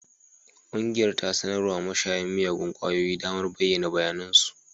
Ƙungiyar ta sanar wa mashayan miyagun kwayoyi damar bayyana bayanan su